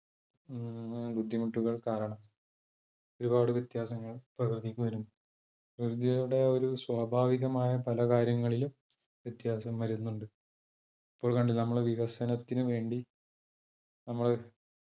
ഉം ബുദ്ധിമുട്ടുകൾ കാരണം ഒരുപാട് വ്യത്യാസങ്ങൾ പ്രകൃതിക്ക് വരുന്നു. പ്രകൃതിയുടെ ഒരു സ്വാഭാവികമായ പല കാര്യങ്ങളിലും വ്യത്യാസം വരുന്നുണ്ട്. ഇപ്പോൾ കണ്ടില്ലേ നമ്മുടെ വികസനത്തിന് വേണ്ടി നമ്മൾ